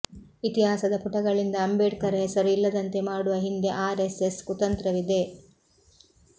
ಇತಿಹಾಸದ ಪುಟಗಳಿಂದ ಅಂಬೇಡ್ಕರ್ ಹೆಸರು ಇಲ್ಲದಂತೆ ಮಾಡುವ ಹಿಂದೆ ಆರ್ಎಸ್ಎಸ್ ಕುತಂತ್ರವಿದೆ